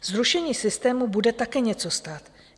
Zrušení systému bude také něco stát.